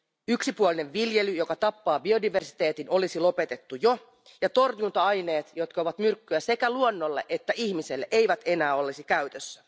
Yksipuolinen viljely, joka tappaa biodiversiteetin, olisi jo lopetettu ja torjunta aineet, jotka ovat myrkkyä sekä luonnolle että ihmisille, eivät enää olisi käytössä.